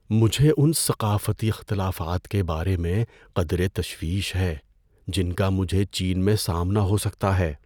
مجھے ان ثقافتی اختلافات کے بارے میں قدرے تشویش ہے جن کا مجھے چین میں سامنا ہو سکتا ہے۔